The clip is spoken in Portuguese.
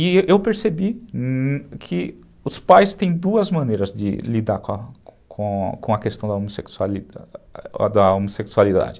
E eu percebi que os pais têm duas maneiras de lidar com a questão da homossexualidade.